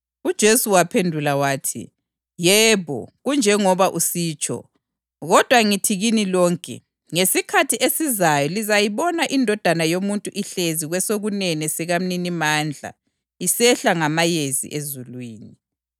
UJesu waphendula wathi, “Yebo, kunjengoba usitsho. Kodwa ngithi kini lonke: Ngesikhathi esizayo lizayibona iNdodana yoMuntu ihlezi kwesokunene sikaMninimandla isehla ngamayezi ezulwini.”